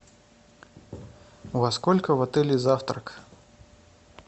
во сколько в отеле завтрак